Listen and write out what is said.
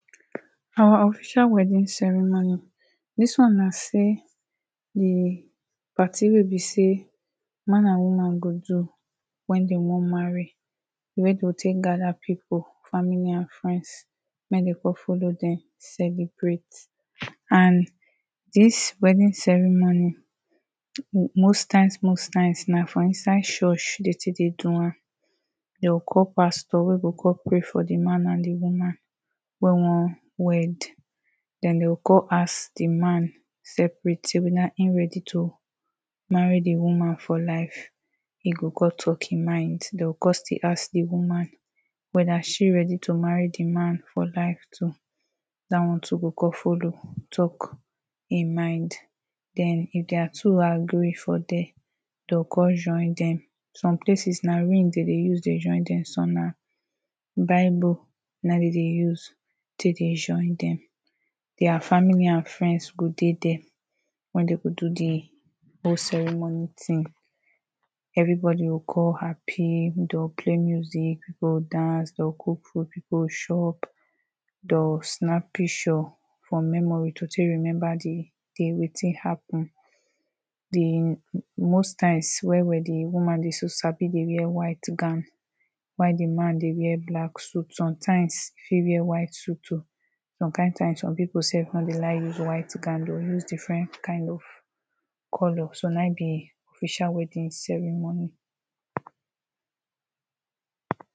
our official wedding ceremony This one na say the party wey be say, man and woman go do when them wan marry, wey go take gather people, family and friends mek dem come follow dem celebrate and dis wedding ceremony most times, most times, na for inside church they take dey do am they go call pastor wey go come pray for the man and woman wey wan wed den they go come ask the man separate say whether eh ready to marry the woman for life e go con talk im mind. They go come still ask the woman, whether she ready to marry the man for life too that one too go come follow talk ehm mind. den if their two agree for there they go come join dem, some places na ring dem dey use join dem some na bible na ehm dey dey use join dem dia family and friends go dey there wen they go do the whole ceremony thing Everybody go con happy, they go play music, dey go dance, dey go cook food, people go chop they go snap picture for memory to take remember the day wetin happen. The most times wey wedding woman dey wear white gown while the man the wear black suit, sometimes eh fit wear white suit too some kind times some people sef no dey like use white gown, they go use different kind of color